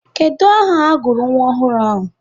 Kedu aha agụrụ nwa ọhụrụ ahụ?